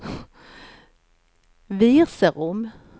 Virserum